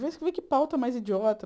Vê vê que pauta mais idiota.